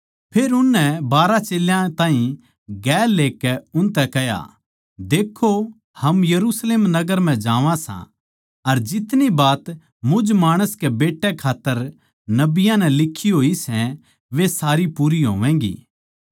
फेर उसनै बारहां चेल्यां ताहीं गेल लेकै उनतै कह्या देक्खो हम यरुशलेम नगर म्ह जावां सां अर जितनी बात मुझ माणस कै बेट्टे खात्तर नबियाँ नै लिक्खी होई सै वे सारी पूरी होवैगी